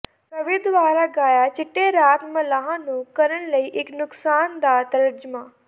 ਕਵੀ ਦੁਆਰਾ ਗਾਇਆ ਚਿੱਟੇ ਰਾਤ ਮਲਾਹ ਨੂੰ ਕਰਨ ਲਈ ਇੱਕ ਨੁਕਸਾਨ ਦਾ ਤਰਜਮਾ